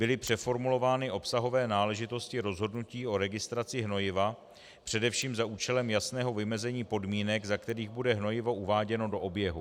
Byly přeformulovány obsahové náležitosti rozhodnutí o registraci hnojiva především za účelem jasného vymezení podmínek, za kterých bude hnojivo uváděno do oběhu.